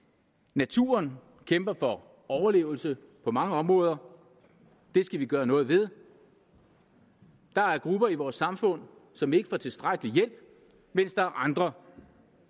naturen kæmper for overlevelse på mange områder det skal vi gøre noget ved der er grupper i vores samfund som ikke får tilstrækkelig hjælp mens der er andre